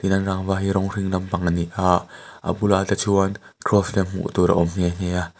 rawng hring lampang a ni a a bulah te chuan cross lem hmuh tur a awm nghe nghe a.